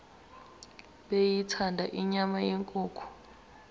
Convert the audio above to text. beyithanda inyama yenkukhu